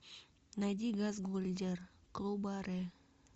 найди газгольдер клубаре